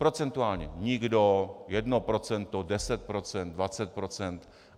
Procentuálně - nikdo, jedno procento, deset procent, dvacet procent.